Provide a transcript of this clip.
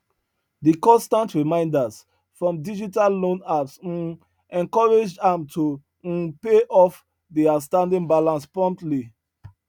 di constant reminders from digital loan apps um encouraged am to um pay off di outstanding balance promptly